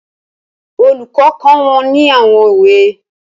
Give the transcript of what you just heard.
Olùkọ́ kọ́ wọn ní àwọn òwe